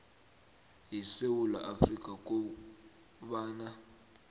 yesewula afrika kobana